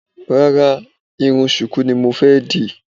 Rárá, irun ṣùkú ni mo fẹ́ dì